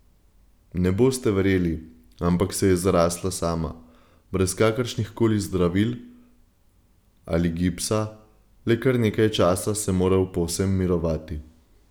Ne boste verjeli, ampak se je zarasla sama, brez kakršnih koli zdravil ali gipsa, le kar nekaj časa sem moral povsem mirovati.